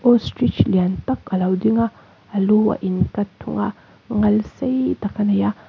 ostrich lian tak alo ding a a lu a in cut thung a ngal sei tak a nei a--